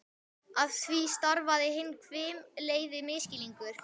Af því stafaði hinn hvimleiði misskilningur.